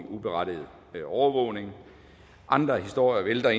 uberettiget overvågning andre historier vælter